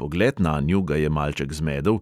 Pogled nanju ga je malček zmedel,